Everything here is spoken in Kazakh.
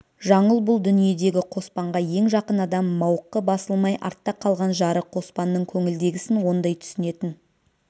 жаңыл бұл дүниедегі қоспанға ең жақын адам мауқы басылмай артта қалған жары қоспанның көңілдегісін ондай түсінетін